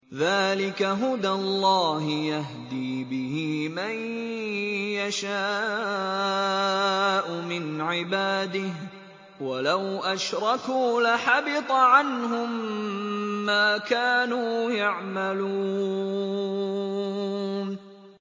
ذَٰلِكَ هُدَى اللَّهِ يَهْدِي بِهِ مَن يَشَاءُ مِنْ عِبَادِهِ ۚ وَلَوْ أَشْرَكُوا لَحَبِطَ عَنْهُم مَّا كَانُوا يَعْمَلُونَ